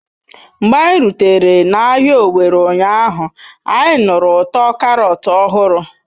Mgbe anyị rutere n'ahịa Owerri ụnyaahụ, anyị nụrụ ụtọ Karọt ọhụrụ.